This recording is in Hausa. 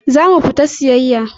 Za mu fita siyayya.